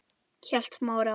hélt Smári áfram.